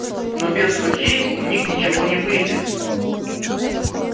но без суки у них ничего не выйдет